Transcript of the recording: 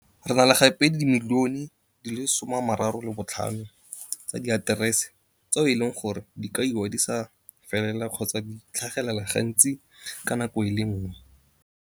Re na le gape le dimilione di le 35 tsa diaterese tseo e leng gore di kaiwa di sa felela kgotsa di tlhagelela ga ntsi ka nako e le ngwe.